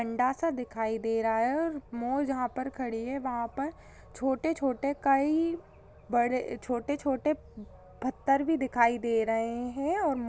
अंडा सा दिखाई दे रहा है और मोर जहा पर खड़ी है वह पर छोटे-छोटे कई बड़े छोटे-छोटे प-पत्थर भी दिखाई दे रहे है। और --